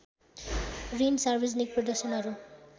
ऋण सार्वजनिक प्रदर्शनहरू